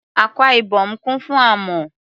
Akwa Ibom kún fún amọ̀.